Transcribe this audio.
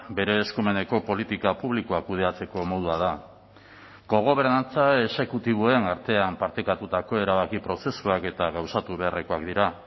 bere eskumeneko politika publikoak kudeatzeko modua da kogobernantza exekutiboen artean partekatutako erabaki prozesuak eta gauzatu beharrekoak dira